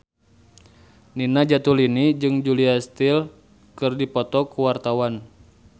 Nina Zatulini jeung Julia Stiles keur dipoto ku wartawan